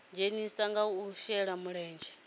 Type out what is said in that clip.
dzhenisa kha u shela mulenzhe